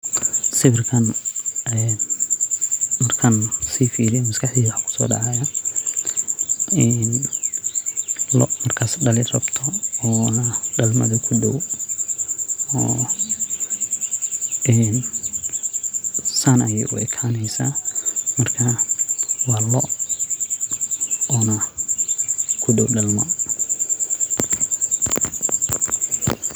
Sawirkan en markan sii firiyo maskaxdeyda waxa kuso dhacaya in loo markas dhali rabto oo na dhalmaadi kudhow en San ayay u ekaneysa marka waa loo ona kudhow dhalma